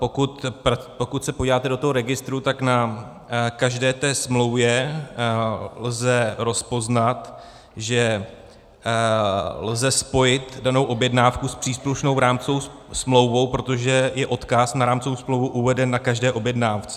Pokud se podíváte do toho registru, tak na každé té smlouvě lze rozpoznat, že lze spojit danou objednávku s příslušnou rámcovou smlouvou, protože je odkaz na rámcovou smlouvu uveden na každé objednávce.